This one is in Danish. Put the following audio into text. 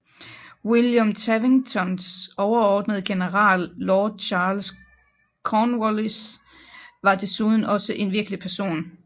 William Tavingtons overordnede general Lord Charles Cornwallis var desuden også en virkelig person